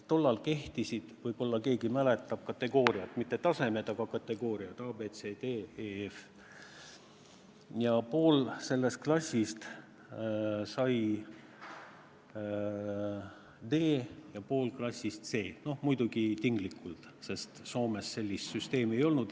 Tollal kehtisid, võib-olla keegi mäletab, kategooriad – mitte tasemed, vaid kategooriad: A, B, C, D, E, F. Ja pool sellest klassist sai D ja pool klassist C. Noh, muidugi tinglikult, sest Soomes sellist süsteemi ei olnud.